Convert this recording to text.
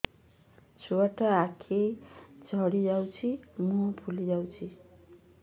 ଛୁଆଟା ଆଖି ଜଡ଼ି ଯାଉଛି ମୁହଁ ଫୁଲି ଯାଉଛି